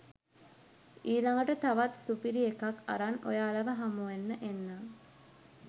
ඊලඟට තවත් සුපිරිඑකක් අරන් ඔයාලව හමුවෙන්න එන්නම්